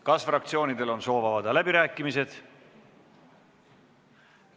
Kas fraktsioonidel on soov avada läbirääkimised?